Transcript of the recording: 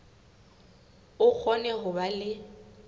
o kgone ho ba le